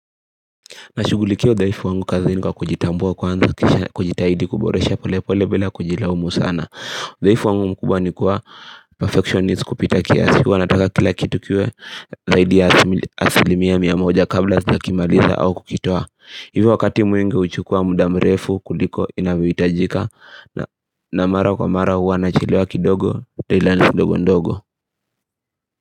Nashughulikia udhaifu wangu kazini kwa kujitambua kwanza kisha kujitahidi kuboresha pole pole bila kujilaumu sana udhaifu wangu mkubwa nikua perfectionist kupita kiasi. Huwa nataka kila kitu kiwe Zaidi ya asilimia mia moja kabla sijakimaliza au kukitoa. Hivyo wakati mwingi huchukua muda mrefu kuliko inavyohitajika. Na mara kwa mara huwa nachelewa kidogo, taila ndogo ndogo.